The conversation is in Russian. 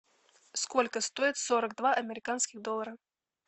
сколько стоит сорок два американских доллара